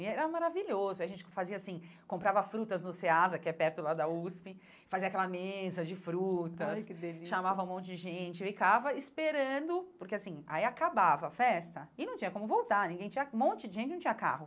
E era maravilhoso, a gente fazia assim, comprava frutas no Seasa, que é perto lá da USP, fazia aquela mesa de frutas, olha que delícia chamava um monte de gente, ficava esperando, porque assim, aí acabava a festa e não tinha como voltar, ninguém tinha um monte de gente não tinha carro.